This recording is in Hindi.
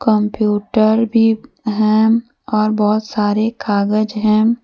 कम्प्यूटर भी हैं और बहुत सारे कागज हैं।